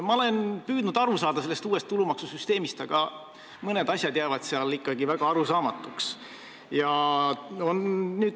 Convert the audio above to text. Ma olen püüdnud uuest tulumaksusüsteemist aru saada, aga mõned asjad jäävad seal ikkagi väga arusaamatuks.